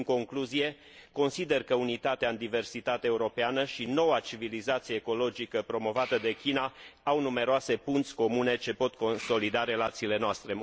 În concluzie, consider că unitatea în diversitate europeană și noua civilizație ecologică promovată de China au numeroase punți comune, ce pot consolida relațiile noastre.